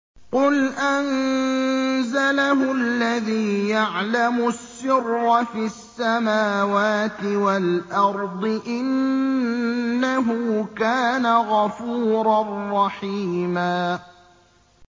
قُلْ أَنزَلَهُ الَّذِي يَعْلَمُ السِّرَّ فِي السَّمَاوَاتِ وَالْأَرْضِ ۚ إِنَّهُ كَانَ غَفُورًا رَّحِيمًا